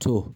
To,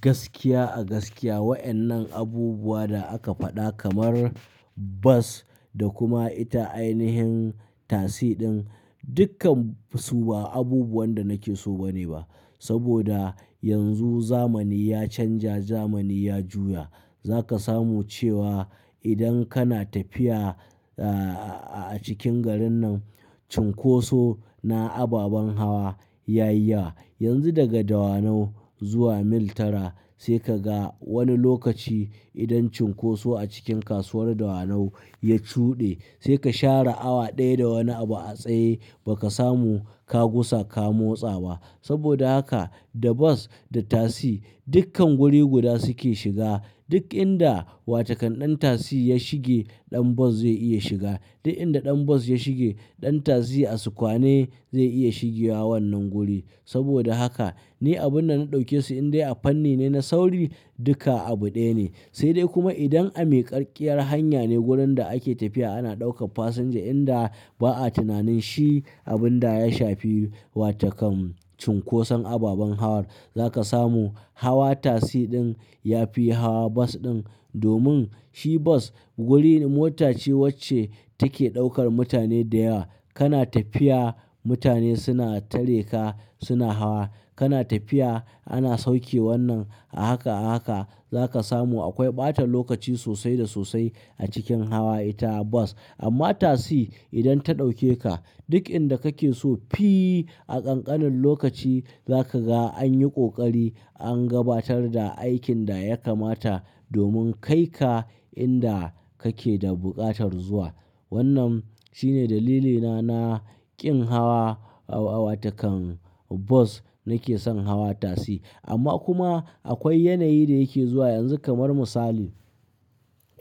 gaskiya a gaskiya wayannan abubuwa da aka faɗa kamar bas da kuma ita ainihin tasi din dukkan su ba abubuwan da nake so ba ne ba. Saboda yanzu zamani ya canja, zamani ya juya. Za ka samu cewa idan kana tafiya a cikin garin nan, cunkoso na ababan hawa ya yi ya. Yanzu daga Dawanau zuwa Mil Tara sai ka ga wani lokaci idan cunkoso a cikin kasuwar Dawanau ya cuɗe sai ka share awa ɗaya da wani abu a tsaye ba ka samu ka gusa ka motsa ba. Saboda haka da bas da tasi dukkan guri guda su ke shiga. Duk inda watakan ɗan tasi ya shige ɗan bas zai iya shiga. Duk inda ɗan bas ya shige ɗan tasi a sukwane zai iya shigewa wannan guri. Saboda haka, ni abun da na ɗauke su in dai a fanni ne na sauri, duka abu ɗaya ne. Sai dai kuma idan a miƙarkkiyar hanya ne, wurin da ake tafiya ana ɗaukan fasinja inda ba'a tunanin shi abun da ya shafi watakan cunkoson ababan hawar, za ka samu hawa tasi ɗin ya fi hawa bas ɗin. Domin shi bas wuri mota ce wacce take ɗaukar mutane da yawa. Kana tafiya mutane suna tareka suna hawa. Kana tafiya ana sauke wannan a haka a haka. Za ka samu akwai ɓatan lokaci sosai da sosai a cikin hawa ita bas. Amma tasi idan ta ɗauke ka duk inda kake so fii a ƙanƙanin lokaci za ka ga an yi ƙoƙari an gabatar da aikin da ya kamata domin kai ka inda kake da buƙatar zuwa. Wannan shine dalilina na ƙin hawa watakan bas nake son hawa tasi. Amma kuma akwai yanayi da yake zuwa yanzu kamar misali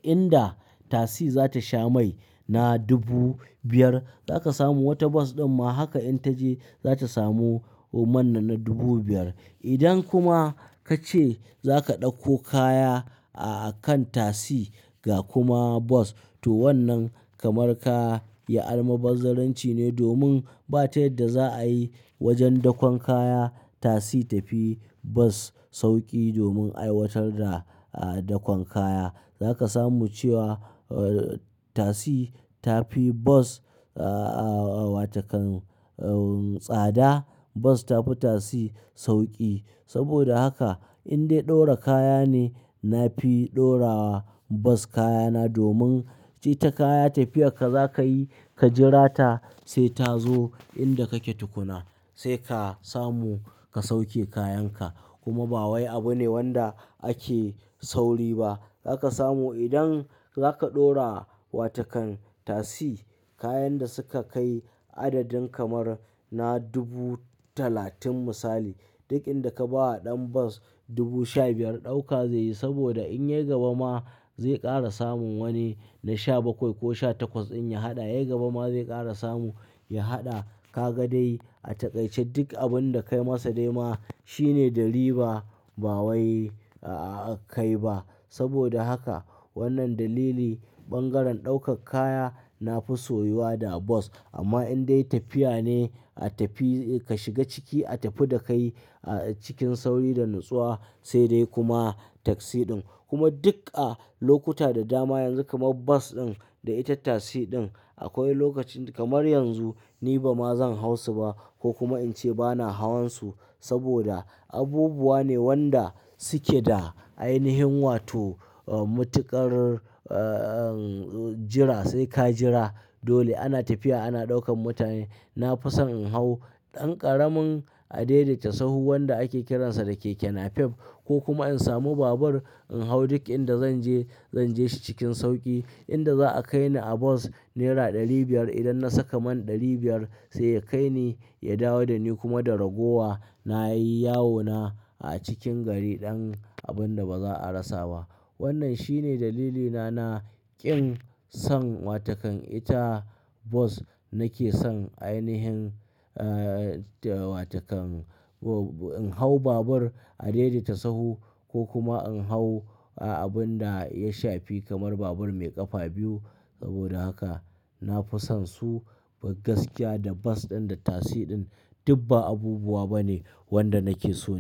inda tasi za ta sha mai na dubu biyar za ka samu wata bas ɗin ma haka in ta je za ta samu man nan na dubu biyar. Idan kuma ka ce za ka ɗauko kaya a kan tasi ga kuma bas to wannan kamar ka yi almubazzaranci ne domin ba ta yadda za'a yi wajen dakon kaya, tasi ta fi bas sauƙi domin aiwatar da dakon kaya. Za ka samu cewa tasi ta fi bas wa takan tsada bas ta fi tasi sauƙi. Saboda haka in dai dora kaya ne, na fi dorawa bas kayana domin ita kaya tafiyar ka za ka yi ka jira ta sai ta zo inda kake tukuna sai ka samu ka sauke kayan ka. Kuma ba wai abu ne wanda ake sauri ba. Za ka samu idan za ka ɗora watakan tasi kayan da suka kai adadin kamar na dubu talatin misali, duk inda ka ba wa ɗan bas dubu sha biyar ɗauka ze yi saboda in ya gaba ma zai ƙara samun wani na sha bakwai ko sha takwas in ya haɗa. Yai gaba ma zai ƙara samu ya haɗa kaga dai a taƙaice duk abun da kai masa dai ma, shine da riba ba wai a kai ba. Saboda haka, wannan dalili bangaren ɗaukar kaya na fi soyuwa da bas. Amma in dai tafiya ne a tafi ka shiga ciki a tafi da kai cikin sauri da natsuwa, sai dai kuma taksi din. Kuma duk a lokuta da dama yanzu kamar bas ɗin da ita tasi ɗin akwai lokacin kamar yanzu ni ba ma zan hau su ba ko kuma in ce ba na hawan su saboda abubuwa ne wanda suke da ainihin wato matuƙar jira sai ka jira. Dole ana tafiya ana ɗaukan mutane. Na fi son in hau ɗan ƙaramin a daidaita sahu wanda ake kiransa da keke napep ko kuma in samu babur in hau duk inda zan je zan je shi cikin sauƙi. Inda za'a kai ni a bas naira ɗari biyar idan na saka man ɗari biyar sai ya kai ni ya dawo da ni kuma da ragowa na yi yawona a cikin gari ɗan abun da ba za'a rasa ba. Wannan shine dalilina na ƙin son watakan ita bas nake son ainihin watakan in hau babur a daidaita sahu ko kuma in hau abun da ya shafi kamar babur mai ƙafa biyu. Saboda haka na fi son su gaskiya da bas ɗin da tasi ɗin duk ba abubuwa ba ne wanda nake so yi.